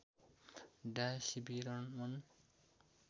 डा सीवी रमन